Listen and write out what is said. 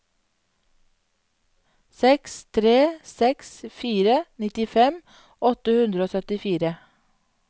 seks tre seks fire nittifem åtte hundre og syttifire